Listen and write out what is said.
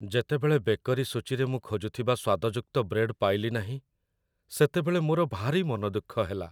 ଯେତେବେଳେ ବେକରୀ ସୂଚୀରେ ମୁଁ ଖୋଜୁଥିବା ସ୍ୱାଦଯୁକ୍ତ ବ୍ରେଡ୍ ପାଇଲି ନାହିଁ, ସେତେବେଳେ ମୋର ଭାରି ମନଦୁଃଖ ହେଲା।